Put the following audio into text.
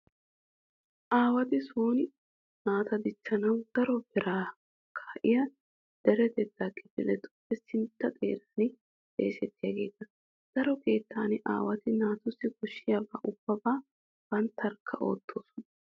Aawati sooni naata dichchanawu daro beeraa kaa'iya deretettaa kifiletuppe sintta xeeran xeesettiyageeta. Daro keettan aawati naatussi koshshiyabaa ubbabaa banttarkka oottoosona.